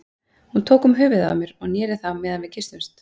Hún tók um höfuðið á mér og neri það á meðan við kysstumst.